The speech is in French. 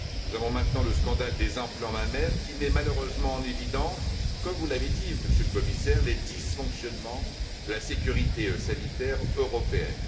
Nous avons maintenant le scandale des implants mammaires, qui met malheureusement en évidence comme vous l'avez dit, Monsieur le Commissaire les dysfonctionnements de la sécurité sanitaire européenne.